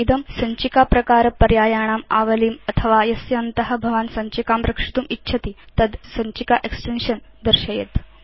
इदं सञ्चिकाप्रकारपर्यायाणाम् आवलीम् अथवा यस्यान्त भवान् सञ्चिकां रक्षितुम् इच्छति तद् सञ्चिका एक्सटेन्शन् दर्शयेत्